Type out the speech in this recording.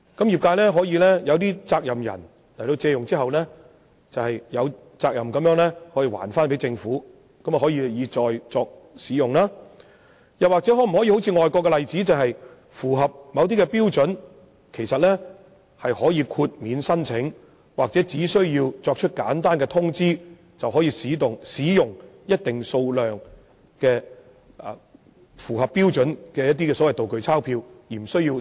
業界可以通過某些責任人借用，然後再歸還政府供日後使用；第二，是參考外國例子，若業界符合某些標準，便可以豁免手續繁複的申請，或只須作簡單通知後，便可以使用一定數量符合標準的"道具鈔票"。